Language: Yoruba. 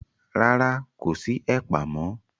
Rárá, kò sí ẹ̀pà mọ́.